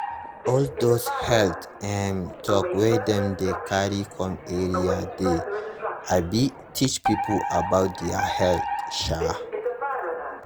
all those health um talk wey dem dey carry come area dey um teach people about their health. um